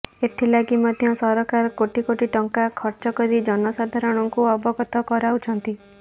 ଏଥି ଲାଗି ମଧ୍ୟ ସରକାର କୋଟି କୋଟି ଟଙ୍କା ଖର୍ଚ୍ଚ କରି ଜନସାଧାରଣଙ୍କୁ ଅବଗତ କରାଉଛନ୍ତି